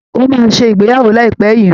Ó máa ṣe ìgbéyàwó láìpẹ́ yìí